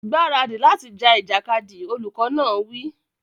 Gbáradì láti ja ìjàkadì! Olùkọ́ náà wí.